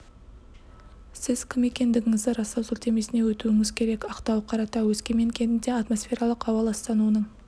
сіз кім екендігіңізді растау сілтемесіне өтуіңіз керек ақтау қаратау өскемен кентінде атмосфералық ауа ластануының